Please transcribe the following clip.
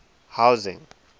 housing